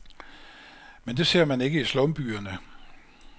Men det ser man ikke i slumbyerne.